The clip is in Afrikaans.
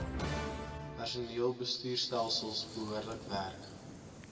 personeelbestuurstelsels behoorlik werk